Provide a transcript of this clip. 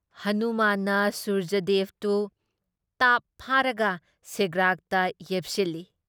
ꯍꯅꯨꯃꯥꯟꯅ ꯁꯨꯔꯖꯗꯦꯕꯗꯨ ꯇꯥꯞ ꯐꯥꯔꯒ ꯁꯦꯒ꯭ꯔꯥꯛꯇ ꯌꯦꯞꯁꯤꯜꯂꯤ ꯫